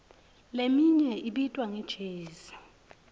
leminye ibitwa nge jezi